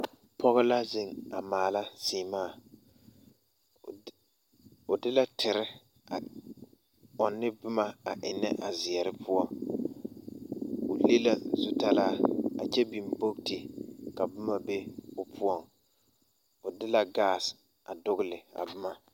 Pɔɡe la zeŋ a maala seɛmaa o de la tere ɔnnɔ ne boma a ennɛ a zeɛre poɔ o le la zutalaa a kyɛ biŋ boɡiti ka boma be o poɔŋ o de la ɡaase a doɡele a boma.